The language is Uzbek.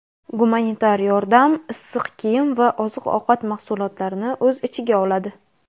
Gumanitar yordam issiq kiyim va oziq-ovqat mahsulotlarini o‘z ichiga oladi.